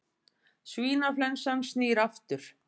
Svínaflensan snýr aftur